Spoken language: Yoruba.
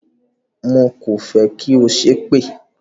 Mo kò fẹ́ kí ó ṣépè!